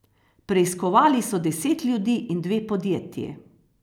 Preiskovali so deset ljudi in dve podjetji.